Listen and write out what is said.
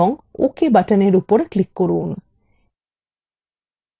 এবং ok বাটনের উপর click করুন